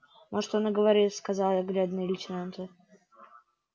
может он и говорит сказал я глядя на лейтенанта